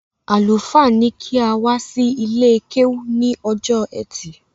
Àlùfáà ní kí a wá sí ilé-kéwú ní ọjọ́ ẹtì